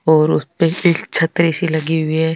और ऊपर से छतरी सी लगी हुई है।